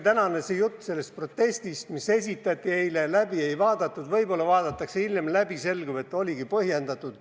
Tänane jutt sellest protestist, mis esitati eile ja mida läbi ei vaadatud – võib-olla vaadatakse hiljem läbi –, selgub, et oligi põhjendatud.